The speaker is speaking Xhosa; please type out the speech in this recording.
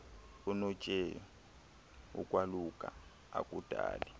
unotshei ukwaluka akudali